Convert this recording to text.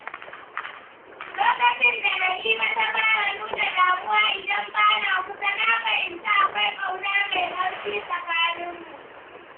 lokacin da Na'ima ta fara nuna damuwa idan bana kusa, na fahimci akwai ƙauna mai ƙarfi tsakaninmu.